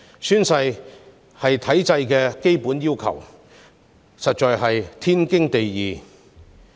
宣誓是體制的基本要求，實在是天經地義。